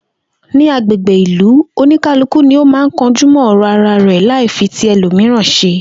Ní agbègbè ìlú, oníkálùkù ni ó máa ń kanjú mó̩ ò̩rò̩ ara rè̩ láì fi ti e̩lòmìíràn s̩e